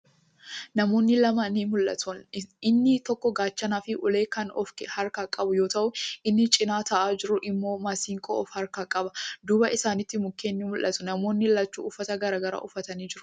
Namoonni lama ni mul'atu. Inni tokko Gaachanaa fi ulee kan of harkaa qabu yoo ta'u, inni cinaa taa'aa jiru immoo Masinqoo of harkaa qaba. Duuba isaanitti mukkeen ni mul'atu. Namoonni lachuu uffata garagaraa uffatanii jiru.